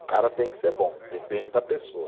O cara tem que ser bom, depende da pessoa.